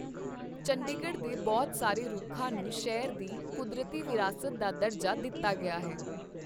ਚੰਡੀਗੜ੍ਹ ਦੇ ਬਹੁਤ ਸਾਰੇ ਰੁੱਖਾਂ ਨੂੰ ਸ਼ਹਿਰ ਦੀ ਕੁਦਰਤੀ ਵਿਰਾਸਤ ਦਾ ਦਰਜਾ ਦਿੱਤਾ ਗਿਆ ਹੈ।